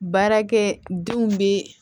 Baarakɛ denw bɛ